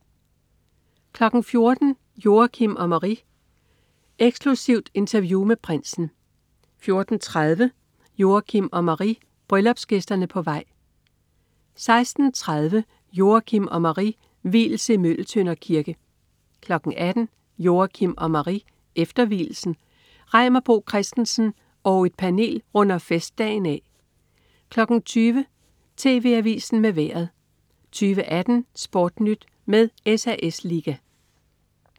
14.00 Joachim og Marie: Eksklusivt interview med prinsen 14.30 Joachim og Marie: Bryllupsgæsterne på vej 16.30 Joachim og Marie: Vielse i Møgeltønder Kirke 18.00 Joachim og Marie: Efter vielsen. Reimer Bo Christensen og panel runder festdagen af 20.00 TV Avisen med Vejret 20.18 SportNyt med SAS Liga